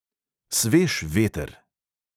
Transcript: Svež veter!